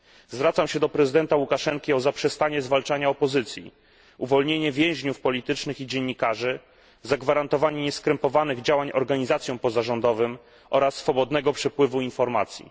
Zwracam się do prezydenta Łukaszenki o zaprzestanie zwalczania opozycji, uwolnienie więźniów politycznych i dziennikarzy, zagwarantowanie nieskrępowanych działań organizacjom pozarządowym oraz swobodnego przepływu informacji.